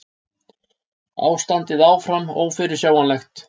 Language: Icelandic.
Ástandið áfram ófyrirsjáanlegt